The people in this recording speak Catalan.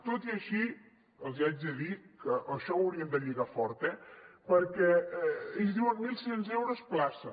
tot i així els haig de dir que això ho haurien de lligar fort eh perquè ells diuen mil sis cents euros plaça